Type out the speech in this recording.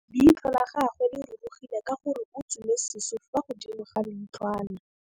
Leitlhô la gagwe le rurugile ka gore o tswile sisô fa godimo ga leitlhwana.